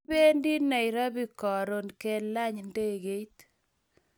Kipendi nairobi karun kelan ndegeit .